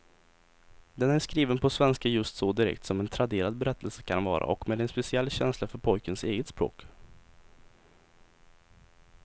Den är skriven på svenska just så direkt som en traderad berättelse kan vara och med en speciell känsla för pojkens eget språk.